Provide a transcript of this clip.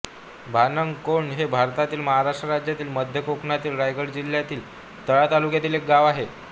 भानंग कोंड हे भारतातील महाराष्ट्र राज्यातील मध्य कोकणातील रायगड जिल्ह्यातील तळा तालुक्यातील एक गाव आहे